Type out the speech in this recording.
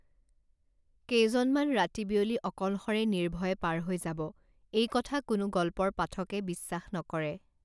কেইজনমান ৰাতি বিয়লি অকলশৰে নিৰ্ভয়ে পাৰ হৈ যাব এই কথা কোনো গল্পৰ পাঠকে বিশ্বাস নকৰে